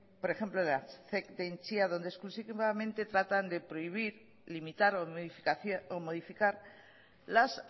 por ejemplo de la zec de entzia donde exclusivamente tratan de prohibir limitar o modificar las